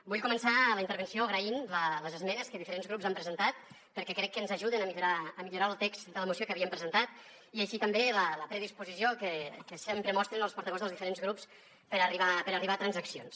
vull començar la intervenció agraint les esmenes que diferents grups han presentat perquè crec que ens ajuden a millorar el text de la moció que havíem presentat i també la predisposició que sempre mostren els portaveus dels diferents grups per arribar a transaccions